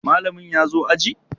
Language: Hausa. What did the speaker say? Mallamin ya zo aji?